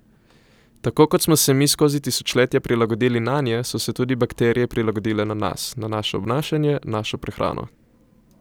Tako kot smo se mi skozi tisočletja prilagodili nanje, so se tudi bakterije prilagodile na nas, na naše obnašanje, našo prehrano.